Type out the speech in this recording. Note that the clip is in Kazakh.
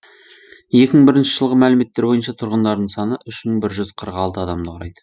екі мың бірінші жылғы мәліметтер бойынша тұрғындарының саны үш мың бір жүз қырық алты адамды құрайды